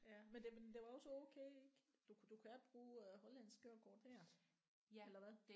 Ja men det var det var også okay ik du kan du kan bruge øh hollandsk kørekort her eller hvad